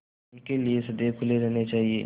उनके लिए सदैव खुले रहने चाहिए